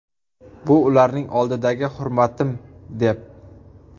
Bu ularning oldidagi hurmatim’, deb”.